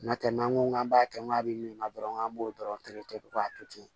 N'o tɛ n'an ko k'an b'a kɛ n'a bɛ min na dɔrɔn an b'o dɔrɔn terete k'a to ten